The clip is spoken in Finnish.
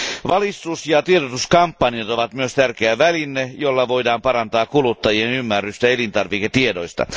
Valistus ja tiedotuskampanjat ovat myös tärkeä väline, jolla voidaan parantaa kuluttajien ymmärrystä elintarviketiedoista.